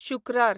शुक्रार